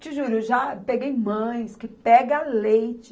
Te juro, eu já peguei mães que pega leite.